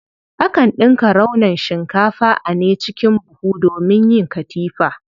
Akan ɗinka raunon shikafa a ne cikin buhu domin yin katifa.